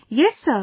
Yes Sir